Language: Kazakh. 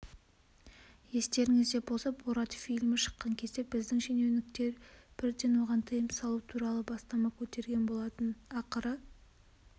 естеріңізде болса борат фильмі шыққан кезде біздің шенеуніктер бірден оған тыйым салу туралы бастама көтергенболатын ақыры